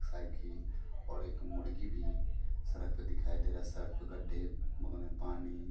cycle और एक मुर्गी भी सड़क पर दिखाई दे रहा है सड़क पर गड्ढे उनमें पानी--